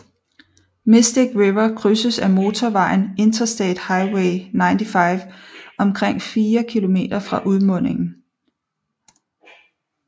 Mystic River krydses af motorvejen Interstate Highway 95 omkring 4 km fra udmundingen